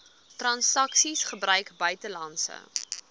transaksies gebruik buitelandse